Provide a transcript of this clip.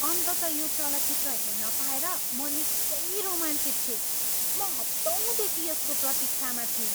अन्ततः यो चलचित्र हेर्न पाएर म निकै रोमाञ्चित छु! म हप्तौँदेखि यसको प्रतिक्षामा थिएँ।